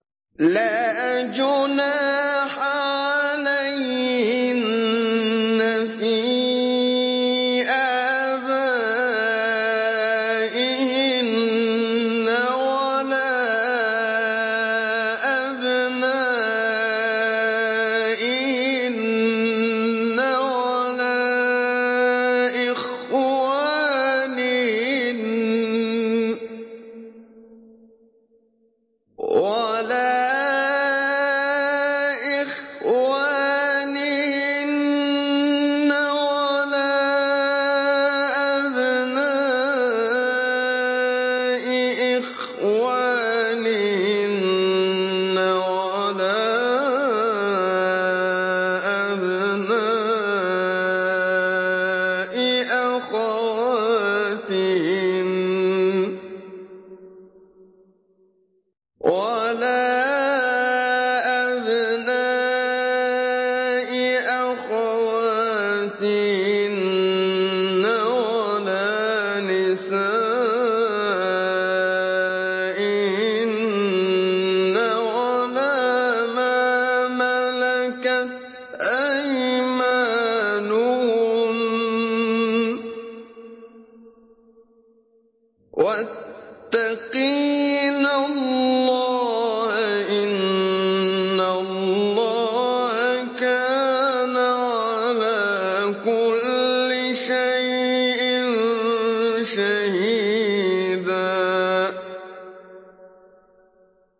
لَّا جُنَاحَ عَلَيْهِنَّ فِي آبَائِهِنَّ وَلَا أَبْنَائِهِنَّ وَلَا إِخْوَانِهِنَّ وَلَا أَبْنَاءِ إِخْوَانِهِنَّ وَلَا أَبْنَاءِ أَخَوَاتِهِنَّ وَلَا نِسَائِهِنَّ وَلَا مَا مَلَكَتْ أَيْمَانُهُنَّ ۗ وَاتَّقِينَ اللَّهَ ۚ إِنَّ اللَّهَ كَانَ عَلَىٰ كُلِّ شَيْءٍ شَهِيدًا